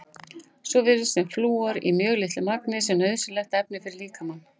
Svo virðist sem flúor í mjög litlu magni sé nauðsynlegt efni fyrir líkamann.